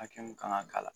Hakɛ mun kan ka k'a la